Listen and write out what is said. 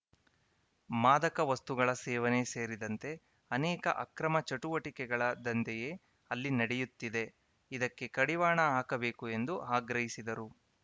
ಮಾದಕ ವಸ್ತುಗಳ ಸೇವನೆ ಸೇರಿದಂತೆ ಅನೇಕ ಅಕ್ರಮ ಚಟುವಟಿಕೆಗಳ ದಂಧೆಯೇ ಅಲ್ಲಿ ನಡೆಯುತ್ತಿದೆ ಇದಕ್ಕೆ ಕಡಿವಾಣ ಹಾಕಬೇಕು ಎಂದು ಆಗ್ರಹಿಸಿದರು